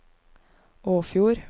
Åfjord